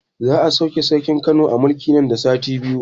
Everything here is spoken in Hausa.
Za a sauke sarkin Kano a mulki nan da sati biyu